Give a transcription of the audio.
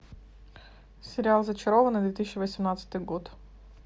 сериал зачарованные две тысячи восемнадцатый год